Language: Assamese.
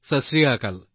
ছত শ্ৰী আকাল